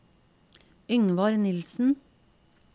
Yngvar Nielsen